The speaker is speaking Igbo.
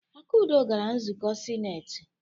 Akunna gara nzukọ sinetị.